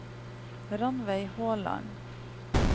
Ranveig Håland